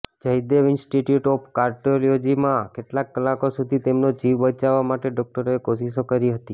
Jaydev institute of કાર્ડિયોલોજીમાં કેટલાક કલાકો સુધી તેમનો જીવ બચાવવા માટે ડોક્ટરોએ કોશિશો કરી હતી